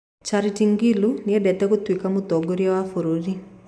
Charity Ngilu nĩendete gũtuĩka mũtongoria wa bũrũri